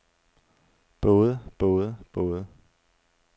både både både